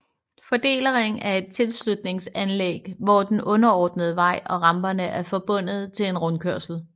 Fordelerring er et tilslutningsanlæg hvor den underordnede vej og ramperne er forbundet til en rundkørsel